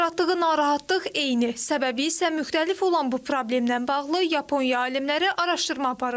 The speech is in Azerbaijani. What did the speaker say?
Yaratdığı narahatlıq eyni, səbəbi isə müxtəlif olan bu problemdən bağlı Yaponiya alimləri araşdırma aparıblar.